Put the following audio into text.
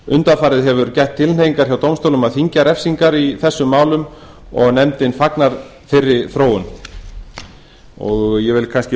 undanfarið hefur gætt tilhneigingar hjá dómstólum að þyngja refsingar í þessum málum og nefndin fagnar þeirri þróun ég vil kannski um